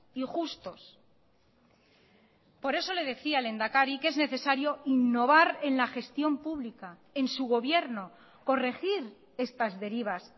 y justos por eso le decía lehendakari que es necesario innovar en la gestión pública en su gobierno corregir estas derivas